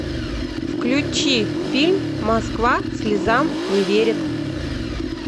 включи фильм москва слезам не верит